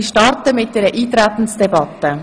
Ich möchte mit einer Eintretensdebatte beginnen.